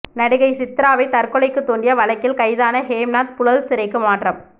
நடிகை சித்ராவை தற்கொலைக்கு தூண்டிய வழக்கில் கைதான ஹேம்நாத் புழல் சிறைக்கு மாற்றம்